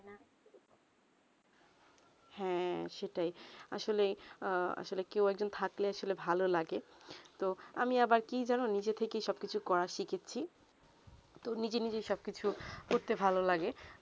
হেঁ সেটাই আসলে আসলে কেউ একজন থাকলে ভালো লাগে তো আমি আবার কি জানো নিজে থেকে সব কিছু করা শিখেছি তো নিজে নিজে সব কিছু করতে ভালো লাগে